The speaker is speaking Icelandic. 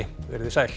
veriði sæl